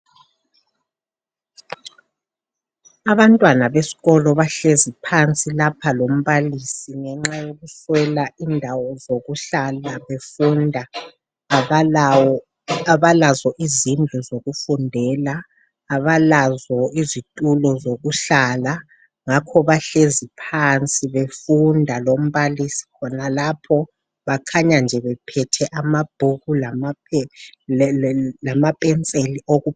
Abantwana besikolo bahlezi phansi lapha lombalisi ngenxa yokuswela indawo zokuhlala befunda. Abalazo izindlu zokufundela, abalazo izitulo zokuhlala. Ngakho bahlezi phansi befunda lombalisi khonalapho. Bakhanya nje bephethe amabhuku lamapenseli.